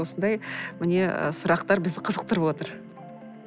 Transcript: осындай міне і сұрақтар бізді қызықтырып отыр